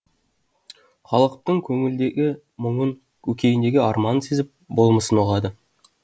халықтың көңілдегі мұңын көкейіндегі арманын сезіп болмысын ұғады